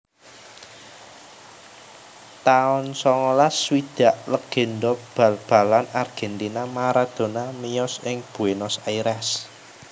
taun songolas swidak Légendha bal balan Argentina Maradona miyos ing Buenos Aires